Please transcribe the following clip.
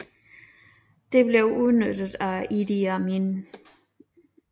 Dette blev udnyttet af Idi Amin